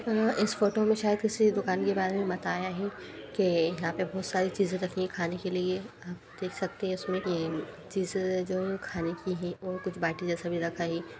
अ इस फोटो में शायद किसी दुकान के बारे में बताया है के यहाँ पे बोहोत सारी चीजें रखी हैं खाने के लिए। आप देख सकते हैं इसमें ये चीजें जो हैं खाने की है और कुछ बाटी जैसा भी रखा है।